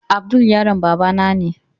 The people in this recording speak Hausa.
Abdul yaron babana ne.